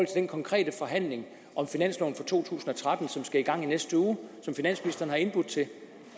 den konkrete forhandling om finansloven for to tusind og tretten som skal i gang i næste uge og som finansministeren har indbudt til